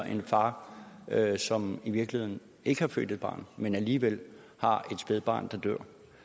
en far som i virkeligheden ikke har født et barn men alligevel har et spædbarn der dør